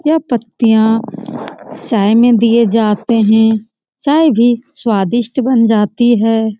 यह पत्तीयां चाय में दी जाते हैं चाय भी सवादिष्ट बना जाती है ।.